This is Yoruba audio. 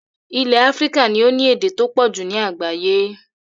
Ilẹ̀ Africa ni o ni èdè to pọ̀jù ni àgbáyẹ́